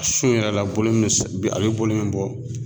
A sun in yɛrɛ la bolo min a bɛ bolo min bɔ